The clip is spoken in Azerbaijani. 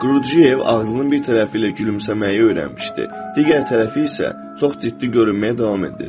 Qurdjiyev ağzının bir tərəfi ilə gülümsəməyi öyrənmişdi, digər tərəfi isə çox ciddi görünməyə davam etdirirdi.